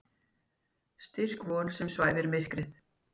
Styrk von sem svæfir myrkrið.